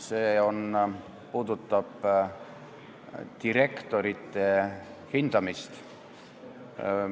See käsitleb direktorite hindamist.